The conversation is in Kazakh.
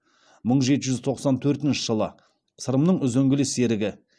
мың жеті жүз тоқсан төртінші жылы сырымның үзеңгілес серігі